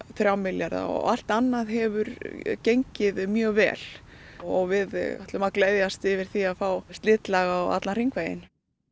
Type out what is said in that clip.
þrjá milljarða allt annað hefur gengið mjög vel og við ætlum að gleðjast yfir því að fá slitlag á allan hringveginn